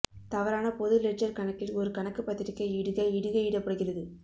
தவறான பொது லெட்ஜெர் கணக்கில் ஒரு கணக்கு பத்திரிகை இடுகை இடுகையிடப்படுகிறது